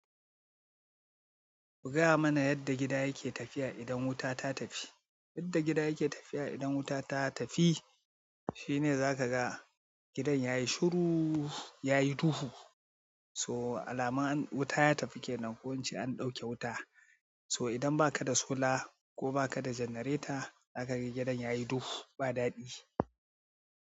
Ku gaya mana yadda gida take tafiya idan wuta ta tafi. Yadda gida yake tafiya idan wuta ta tafi, shi ne za ka ga gidan yayi shuru yayi duhu. So alamar wuta ta tafi kenan, ko in ce an ɗauke wuta. So idan ba ka da sola ko ba ka da generator, za ka ga gidan yayi duhu ba daɗi.